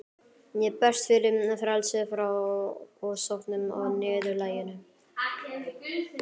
Ég berst fyrir frelsi frá ofsóknum og niðurlægingu.